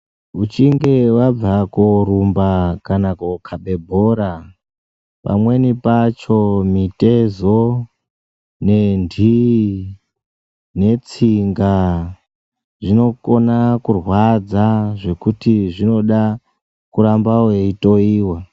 Muchinge vabva korumba kana kokabe bhora, pamweni pacho mitezo, nendiyi, netsinga zvinokona kurwadza zvekuti zvinoda kuramba weitoyiwa.